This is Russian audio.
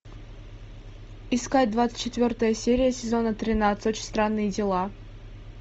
искать двадцать четвертая серия сезона тринадцать очень странные дела